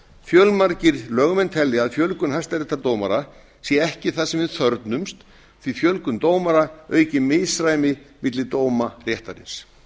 fjölmargir lögmenn telja að fjölgun hæstaréttardómara sé ekki það sem við þörfnumst því fjölgun dómara auki misræmi milli dóma réttarins